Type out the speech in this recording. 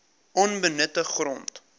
onbenutte grond